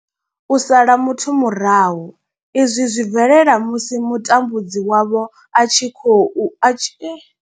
U sala muthu murahu izwi zwi bvelela musi mutambudzi wavho a tshi kho a tshi.